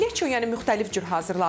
Leço yəni müxtəlif cür hazırlanır.